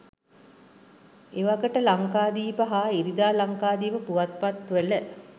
එවකට ලංකාදීප හා ඉරිදා ලංකාදීප පුවත්පත්වල